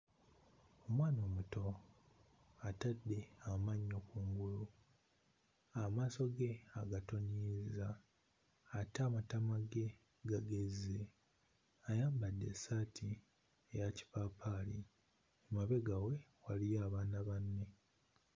Omwana omuto atadde amannyo kungulu amaaso ge agatoniyizza ate amatama ge gagezze ayambadde essaati eya kipaapaali emabega we waliyo abaana banne.